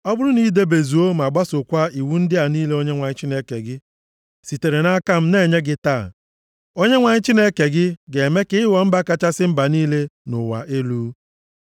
Ọ bụrụ na i debezuo ma gbasookwa iwu ndị a niile Onyenwe anyị Chineke gị sitere nʼaka m na-enye gị taa, Onyenwe anyị Chineke gị ga-eme ka ị ghọọ mba kachasị mba niile nʼụwa elu.